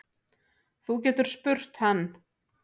Þú getur spurt hann.